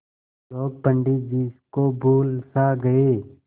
लोग पंडित जी को भूल सा गये